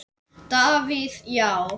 Davíð Já.